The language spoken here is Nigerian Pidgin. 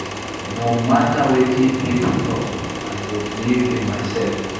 No mata wetin pipo tok, I go believe in mysef.